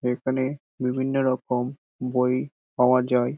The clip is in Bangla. এখানে বিভিন্ন রকম বই পাওয়া যায় ।